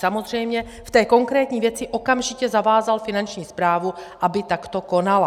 Samozřejmě, v té konkrétní věci okamžitě zavázal Finanční správu, aby takto konala.